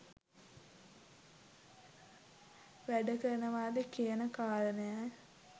වැඩ කරනවද කියන කාරණය